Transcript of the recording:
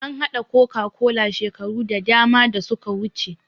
An haɗa coca-cola shekaru da dama da suka wuce